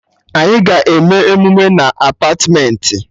Anyị ga-eme emume na Apartmentị